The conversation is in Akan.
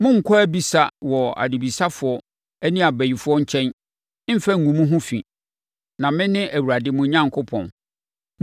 “ ‘Monnkɔ abisa wɔ adebisafoɔ ne abayifoɔ nkyɛn mmfa ngu mo ho fi, na mene Awurade mo Onyankopɔn.